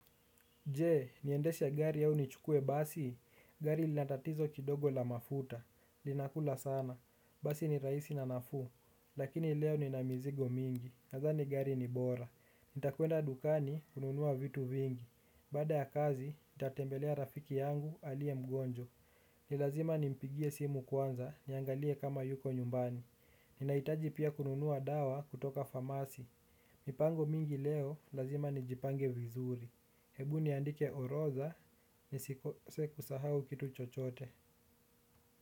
Je, niendeshe gari au nichukue basi, gari linatatizo kidogo la mafuta, linakula sana, basi ni raisi na nafu, lakini leo ni namizigo mingi, nadhani gari ni bora, nitakuenda dukani kununua vitu vingi, baada ya kazi, nitatembelea rafiki yangu alie mgonjo, nilazima nimpigie simu kwanza, niangalie kama yuko nyumbani, ninaitaji pia kununua dawa kutoka famasi, mipango mingi leo, lazima nijipange vizuri. Hebu niandike orodha ni siku sahau kitu chochote.